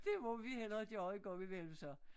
Det må vi hellere gøre en gang imellem så